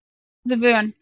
Góðu vön